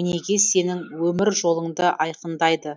өнеге сенің өмір жолыңды айқындайды